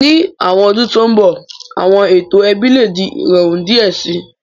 Ni awọn ọdun to nbọ, awọn eto ẹbi le di irọrun diẹ sii